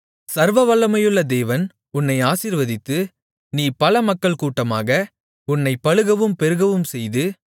சர்வவல்லமையுள்ள தேவன் உன்னை ஆசீர்வதித்து நீ பல மக்கள்கூட்டமாக உன்னைப் பலுகவும் பெருகவும்செய்து